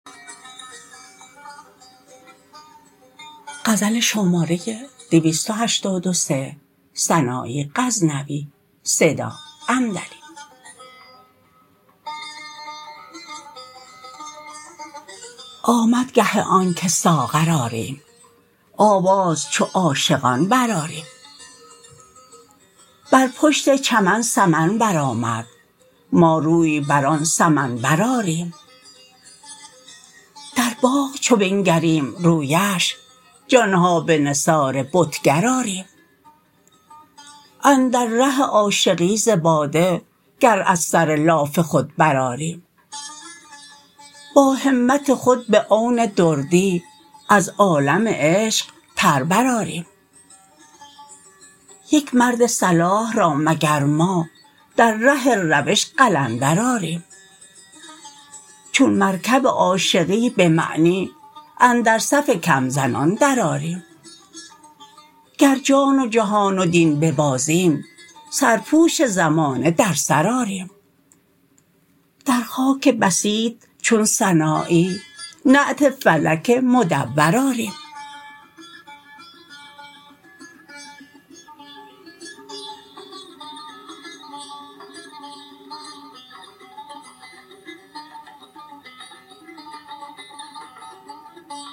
آمد گه آنکه ساغر آریم آواز چو عاشقان برآریم بر پشت چمن سمن برآمد ما روی بر آن سمنبر آریم در باغ چو بنگریم رویش جانها به نثار بتگر آریم اندر ره عاشقی ز باده گر از سر لاف خود برآریم با همت خود به عون دردی از عالم عشق پر برآریم یک مر صلاح را مگر ما در ره روش قلندر آریم چون مرکب عاشقی به معنی اندر صف کم زنان در آریم گر جان و جهان و دین ببازیم سرپوش زمانه در سر آریم در خاک بسیط چون سنایی نعت فلک مدور آریم